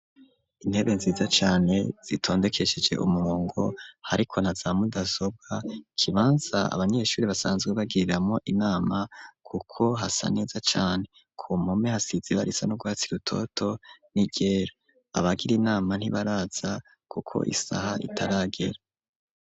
Intebe nziza cane zitondekesheje umurongo hariko naza mudasobwa ikibanza abanyeshuri basanzwe bagiriramwo inama kuko hasa neza cane ku mpome hasize ibara risa n'urwatsi rutoto ni ryera abagira inama ntibaraza kuko isaha itaragera.